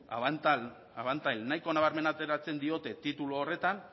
abantaila nabarmena ateratzen diote titulu horretan